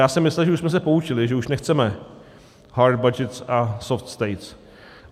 Já jsem myslel, že už jsme se poučili, že už nechceme hard budgets and soft states.